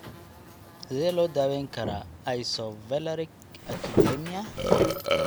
Sidee loo daweyn karaa isovaleriic acidemia?